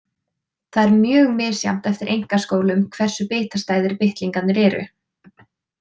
Það er mjög misjafnt eftir einkaskólum hversu bitastæðir bitlingarnir eru.